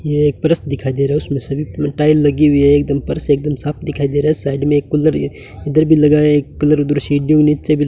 ये एक फर्श दिखाई दे रहा है उसमें सभी टाइल लगी हुई है एकदम फर्श से एकदम साफ दिखाई दे रहा है साइड में एक कलर इधर भी लगाए कलर नीचे भी --